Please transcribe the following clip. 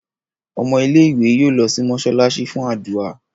Ọmọ ilé ìwé yóò ló sì mosalasi fún ádùrá.